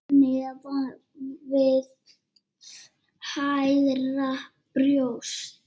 Neðan við hægra brjóst.